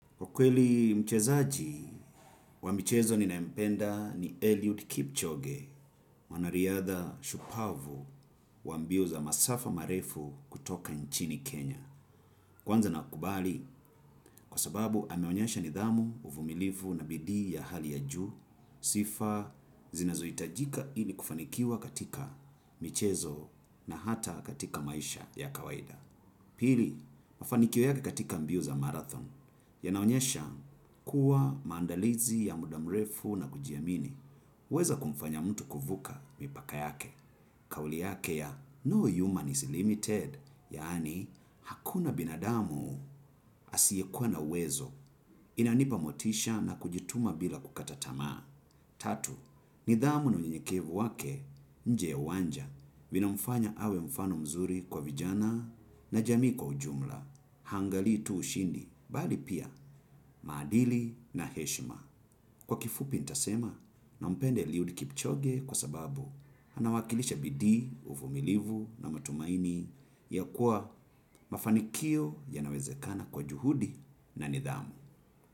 Ukweli mchezaji wa michezo ninayempenda ni Eliud Kipchoge mwanariadha shupavu wa mbio za masafa marefu kutoka nchini Kenya. Kwanza nakubali kwa sababu ameonyesha nidhamu uvumilivu na bidii ya hali ya juu sifa zinazo itajika ili kufanikiwa katika michezo na hata katika maisha ya kawaida. Pili, mafanikio yake katika mbio za marathon, yanaonyesha kuwa maandalizi ya muda mrefu na kujiamini. Weza kumfanya mtu kuvuka mipaka yake. Kauli yake ya no human is limited, yaani hakuna binadamu asiekua na uwezo. Inanipa motisha na kujituma bila kukata tamaa. Tatu, nidhamu na unyenyekevu wake nje ya uwanja vina mfanya awe mfano mzuri kwa vijana na jamii kwa ujumla hangalii tu ushindi bali pia maadili na heshima. Kwa kifupi ntasema nampenda eliud kipchoge kwa sababu anawakilisha bidii, uvumilivu na matumaini ya kuwa mafanikio yanawezekana kwa juhudi na nidhamu.